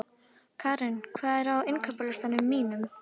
Keran, hvað er á innkaupalistanum mínum?